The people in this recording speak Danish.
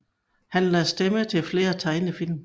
Han lagde stemme til flere tegnefilm